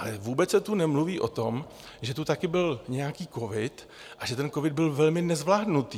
Ale vůbec se tu nemluví o tom, že tu taky byl nějaký covid a že ten covid byl velmi nezvládnutý.